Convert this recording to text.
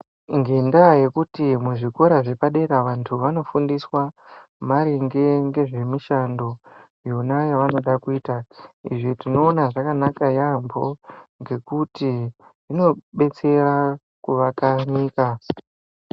Ngenda yekuti muzvikora zvepadera vantu vano fundiswa maringe ngezve mishando yona yavanoda kuita izvi tinoona zvakanaka yambo ngekuti zvino betsera kuvaka nyika.